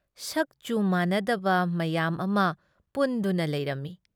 ꯁꯛ-ꯆꯨ ꯃꯥꯟꯅꯗꯕ ꯃꯌꯥꯝ ꯑꯃ ꯄꯨꯟꯗꯨꯅ ꯂꯩꯔꯝꯃꯤ꯫